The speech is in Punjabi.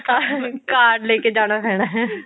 card card ਲੈਕੇ ਜਾਣਾ ਪੈਣਾ